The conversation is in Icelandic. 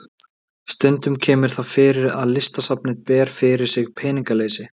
Stundum kemur það fyrir að Listasafnið ber fyrir sig peningaleysi.